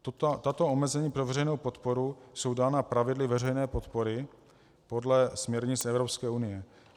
Tato omezení pro veřejnou podporu jsou dána pravidly veřejné podpory podle směrnic Evropské unie.